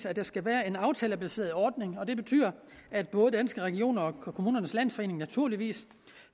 at der skal være en aftalebaseret ordning og det betyder at både danske regioner og kommunernes landsforening naturligvis